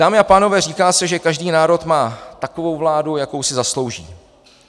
Dámy a pánové, říká se, že každý národ má takovou vládu, jakou si zaslouží.